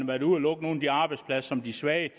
været ude at lukke nogle af de arbejdspladser som de svage